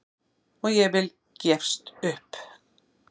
Og ég vil gefst upp!